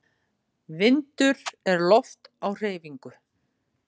Vindur er loft á hreyfingu.